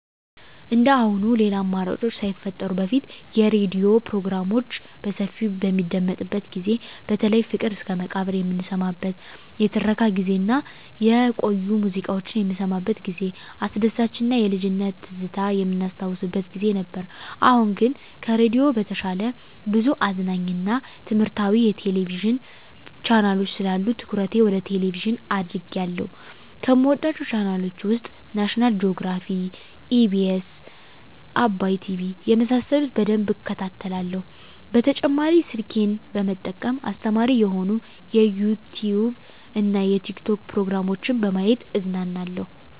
እንደአሁኑ ሌላ አማራጮች ሳይፈጠሩ በፊት የሬዲዮ ፕሮግራሞች በሰፊው በሚደመጥበት ጊዜ በተለይ ፍቅር እስከመቃብር የምንሰማበት የትረካ ጊዜ እና የቆዩ ሙዚቃዎች የምንሰማበት ጊዜ አስደሳች እና የልጅነት ትዝታ የምናስታውስበት ጊዜ ነበር። አሁን ግን ከሬዲዮ በተሻለ ብዙ አዝናኝ እና ትምህረታዊ የቴሌቪዥን ቻናሎች ስላሉ ትኩረቴ ወደ ቴሌቭዥን አድርጌአለሁ። ከምወዳቸው ቻናሎች ውስጥ ናሽናል ጆግራፊ, ኢቢኤስ, አባይ ቲቪ የመሳሰሉት በደንብ እከታተላለሁ። በተጨማሪ ስልኬን በመጠቀም አስተማሪ የሆኑ የዩቲዉብ እና የቲክቶክ ፕሮግራሞችን በማየት እዝናናለሁ።